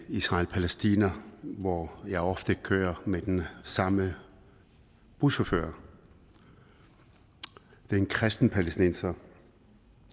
israel og palæstina hvor jeg ofte kører med den samme buschauffør det er en kristen palæstinenser